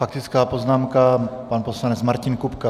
Faktická poznámka, pan poslanec Martin Kupka.